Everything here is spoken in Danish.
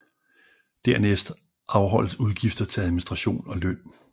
Dernæst afholdes udgifter til administration og løn